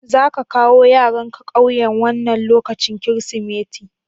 Za ƙa kawo yaranka ƙauyen wannan lokacin Kirsimeti?